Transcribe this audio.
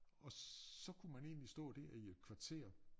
Og så kunne man egentlig stå der i et kvarter